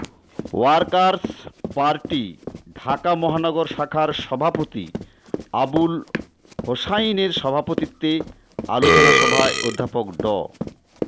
workers party Dhaka মহানগর শাখার সভাপতি আবুল হোসাইনের সভাপতিত্বে আলোচনা সভায় অধ্যাপক ড